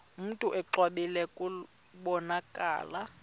mntu exwebile kubonakala